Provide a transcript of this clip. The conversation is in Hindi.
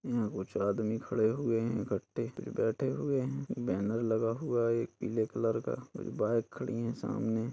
कुछ आदमी खड़े हुए है इकट्ठे बैठे हुए है बैनर लगा हुआ है एक पीले कलर का बाइक खड़ी हैं सामने --